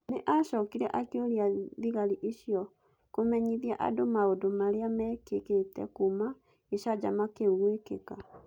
Nĩ acokire akĩũria thigari icio "kũmenyithie andũ maũndũ marĩa mekĩkĩte kuuma gĩcanjama kĩu gwĩkĩka".